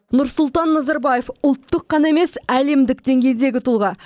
нұрсұлтан назарбаев ұлттық қана емес әлемдік деңгейдегі тұлға